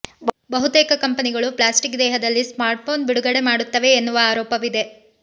ಬಹುತೇಕ ಕಂಪೆನಿಗಳು ಪ್ಲಾಸ್ಟಿಕ್ ದೇಹದಲ್ಲಿ ಸ್ಮಾರ್ಟ್ಫೋನ್ ಬಿಡುಗಡೆ ಮಾಡುತ್ತವೆ ಎನ್ನುವ ಆರೋಪವಿದೆ